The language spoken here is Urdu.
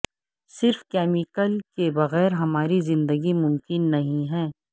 صرف کیمیکل کے بغیر ہماری زندگی ممکن نہیں ہے